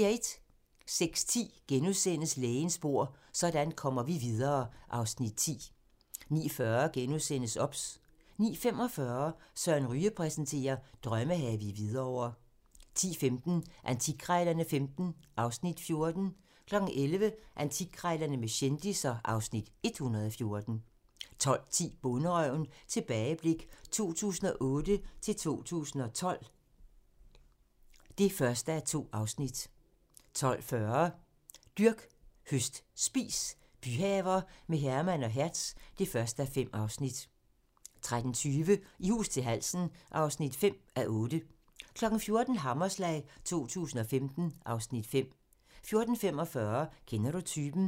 06:10: Lægens bord: Sådan kommer vi videre (Afs. 10)* 09:40: OBS * 09:45: Søren Ryge præsenterer: Drømmehave i Hvidovre 10:15: Antikkrejlerne XV (Afs. 14) 11:00: Antikkrejlerne med kendisser (Afs. 114) 12:10: Bonderøven - tilbageblik 2008-2012 (1:2) 12:40: Dyrk, høst, spis - byhaver med Herman og Hertz (1:5) 13:20: I hus til halsen (5:8) 14:00: Hammerslag 2015 (Afs. 5) 14:45: Kender du typen?